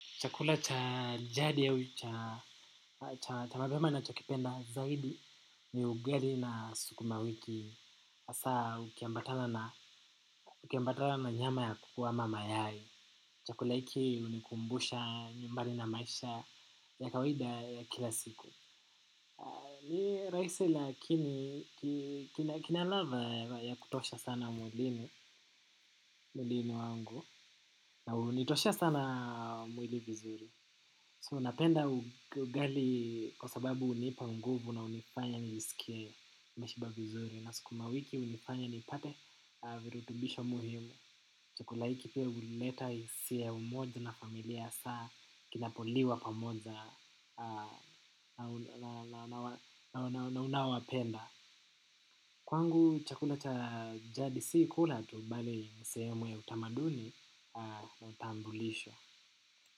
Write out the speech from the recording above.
Chakula cha jadi au, cha mapema nachokipenda zaidi ni ugali na sukuma wiki. Hasa ukiambatana na nyama ya kuku ama mayai. Chakula hiki hunikumbusha nyumbani na maisha ya kawaida ya kila siku. Ni rahisi lakini kina ladha ya kutosha sana mwilini wangu na hunitoshea sana mwili vizuri. So napenda ugali kwa sababu hunipa nguvu na hunifanya nijisikie nimeshiba vizuri na sukuma wiki hunifanya nipate virutubisho muhimu. Chakula hiki pia hulileta hisia ya umoja na familia hasa kinapoliwa pamoja na unaowapenda. Kwangu chakula cha jadi si kula tu bali ni sehemu ya utamaduni na utambulisho.